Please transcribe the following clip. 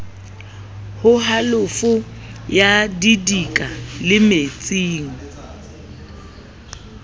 ho halofo ya didika lemetseng